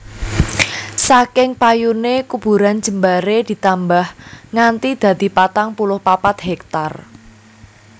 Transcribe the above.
Saking payune kuburan jembaré ditambah nganti dadi patang puluh papat héktar